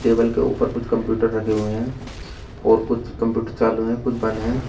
Table के ऊपर कुछ कंप्यूटर रखे हुए हैं और कुछ कंप्यूटर चालू हैं कुछ बंद हैं।